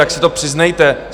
Tak se to přiznejte!